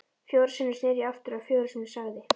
Fjórum sinnum sneri ég aftur og fjórum sinnum sagði